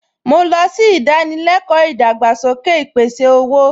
Mo lọ sí ìdánilẹ́kọ̀ọ́ ìdàgbàsókè ìpèsè-owó